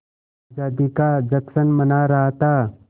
आज़ादी का जश्न मना रहा था